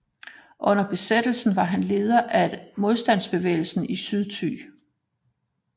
Under besættelsen var han leder af modstandsbevægelsen i Sydthy